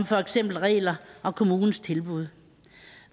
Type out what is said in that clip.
for eksempel regler og kommunens tilbud